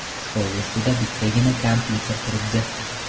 Stol ustida bittagina kompyuter turibdi.